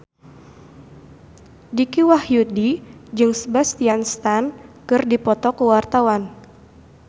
Dicky Wahyudi jeung Sebastian Stan keur dipoto ku wartawan